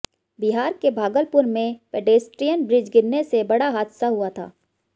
बिहार के भागलपुर में pedestrian bridge गिरने से बड़ा हादसा हुआ था